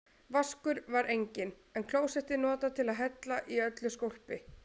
Vaskur var enginn, en klósettið notað til að hella í öllu skólpi.